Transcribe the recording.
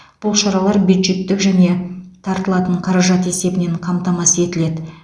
бұл шаралар бюджеттік және тартылатын қаражат есебінен қамтамасыз етіледі